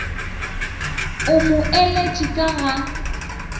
o mo eletše ka ga